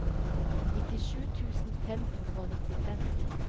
nittisju tusen fem hundre og nittifem